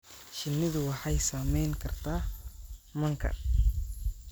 Shinnidu waxay saameyn kartaa manka.